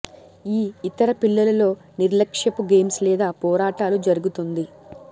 ఈ ఇతర పిల్లులు తో నిర్లక్ష్యపు గేమ్స్ లేదా పోరాటాలు జరుగుతుంది